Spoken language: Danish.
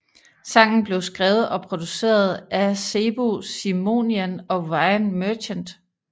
Sangen blev skrevet og produceret af Sebu Simonian og Ryan Merchant